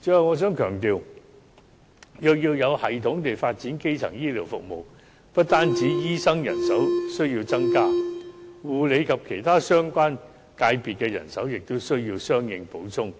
最後，我想強調，如要有系統地發展基層醫療服務，不單醫生人手需要增加，護理及其他相關界別的人手也需要相應補充，